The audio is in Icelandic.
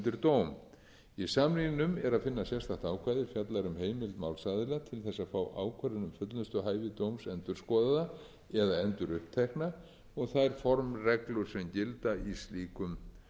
dóm í samningnum er að finna sérstaklega ákvæði er fjallar um heimild málsaðila til þess að fá ákvörðun um fullnustuhæfi dóms endurskoðaða eða endurupptekna og þær formreglur sem gilda í slíkum